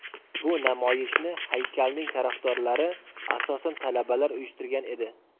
Bu namoyishni haykalning tarafdorlari, asosan talabalar uyushtirgan edi.